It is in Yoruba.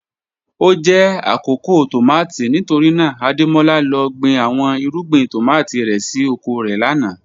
O jẹ akoko tomati nitorina Ademola lọ gbin awọn irugbin tomati rẹ si oko rẹ lana